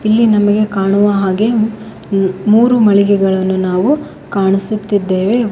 ಇಲ್ಲಿ ನಮಗೆ ಕಾಣುವ ಹಾಗೆ ಮು ಮೂರು ಮಳಿಗೆಗಳನ್ನು ನಾವು ಕಾಣಿಸುತ್ತಿದ್ದೆವೆ.